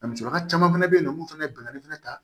A musokɔrɔba caman fɛnɛ be yen nɔ mun fɛnɛ bɛnani fɛnɛ ta